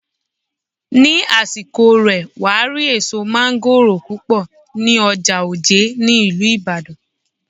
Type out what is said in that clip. Ní àsìkò rè, wàá rí èso mángóròò púpọ̀ ní ọjà Òjé ní ìlú Ìbàdàn.